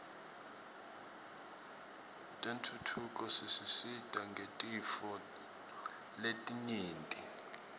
tentfutfuko tisisita ngetintfo letinyenti